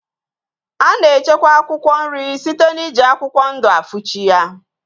A na-echekwa akwụkwọ nri site n'iji akwụkwọ ndụ afuchi ya.